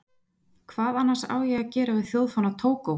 Hvað annars á ég að gera við þjóðfána Tógó?